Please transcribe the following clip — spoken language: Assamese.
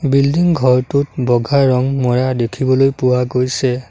বিল্ডিং ঘৰটোত বগা ৰং মৰা দেখিবলৈ পোৱা গৈছে।